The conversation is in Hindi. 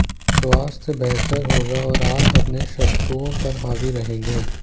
स्वास्थ्य बेहतर होगा और आप अपने शत्रुओं पर हावी रहेंगे